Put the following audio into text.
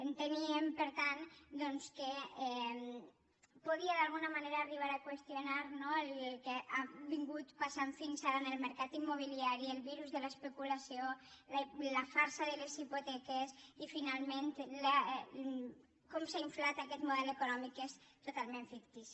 enteníem per tant doncs que podia d’alguna manera arribar a qüestionar no el que ha passat fins ara en el mercat immobiliari el virus de l’especulació la farsa de les hipoteques i finalment com s’ha inflat aquest model econòmic que és totalment fictici